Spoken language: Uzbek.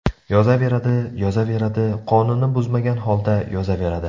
Yozaveradi, yozaveradi, qonunni buzmagan holda yozaveradi.